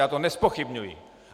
Já to nezpochybňuji.